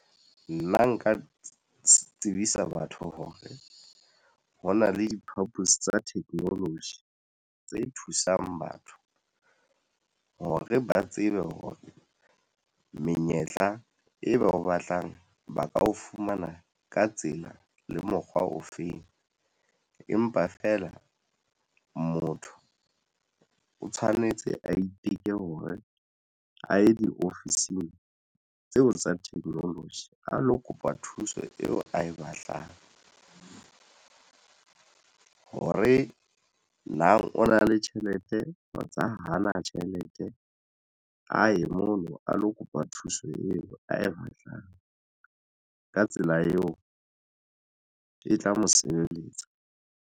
Nna nka tsebisa batho hore hona le diphapusi tsa technology tse thusang batho hore ba tsebe hore menyetla e ba o batlang ba ka o fumana ka tsela le mokgwa o feng. Empa fela motho o tshwanetse a iteke hore a ye diofising tseo tsa technology a lo kopa thuso eo ae batlang hore na o na le tjhelete tsa hao hana tjhelete aye mono a lo kopa thuso eo ae batlang ka tsela eo e tla mo sebeletsa.